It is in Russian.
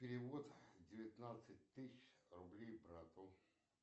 перевод девятнадцать тысяч рублей брату